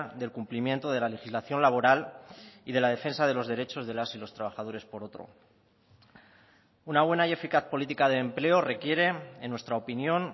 del cumplimiento de la legislación laboral y de la defensa de los derechos de las y los trabajadores por otro una buena y eficaz política de empleo requiere en nuestra opinión